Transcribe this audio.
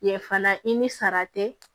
Ye fana i ni sara tɛ